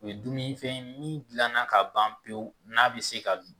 O ye dumuni fɛn ye min gilan na ka ban pewu n'a bi se ka dun